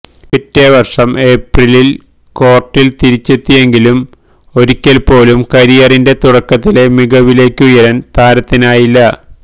പിറ്റേ വര്ഷം ഏപ്രിലില് കോര്ട്ടില് തിരിച്ചെത്തിയെങ്കിലും ഒരിക്കല്പോലും കരിയറിന്െറ തുടക്കത്തിലെ മികവിലേക്കുയരാന് താരത്തിനായില്ല